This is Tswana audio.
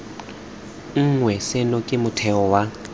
nngwe seno ke motheo wa